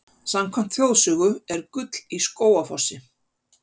Samkvæmt þjóðsögu er gull í Skógafossi.